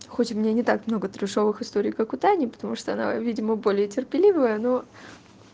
хоть у меня не так много трэшовых историй как у тани потому что она видимо более терпеливая но